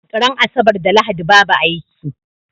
Ran asabar da lahadi babu aiki